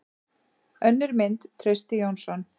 Önnur mynd: Trausti Jónsson.